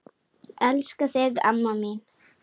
Elska þig, mamma mín.